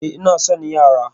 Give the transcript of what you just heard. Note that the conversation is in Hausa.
Eh, ina son yara